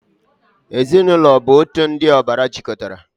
Ezinaụlọ bụ otu ndị ọbara jikọtara.